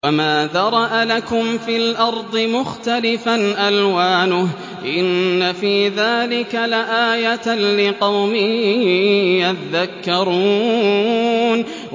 وَمَا ذَرَأَ لَكُمْ فِي الْأَرْضِ مُخْتَلِفًا أَلْوَانُهُ ۗ إِنَّ فِي ذَٰلِكَ لَآيَةً لِّقَوْمٍ يَذَّكَّرُونَ